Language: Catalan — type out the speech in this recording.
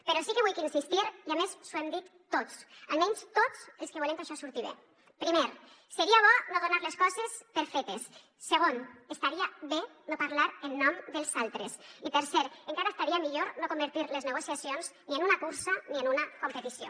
però sí que vull insistir hi i a més li ho hem dit tots almenys tots els que volem que això surti bé primer seria bo no donar les coses per fetes segon estaria bé no parlar en nom dels altres i tercer encara estaria millor no convertir les negociacions ni en una cursa ni en una competició